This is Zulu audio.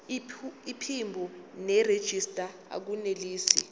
iphimbo nerejista akunelisi